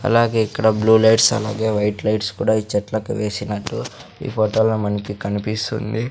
అలాగే ఇక్కడ blue lights అలాగే వైట్ లైట్స్ కూడా ఈ చెట్లకు వేసినట్టు ఈ ఫొటో లో మనకి కన్పిస్తుంది .